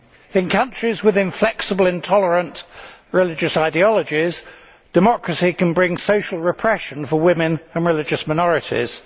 In countries with inflexible and intolerant religious ideologies, democracy can bring social repression for women and religious minorities.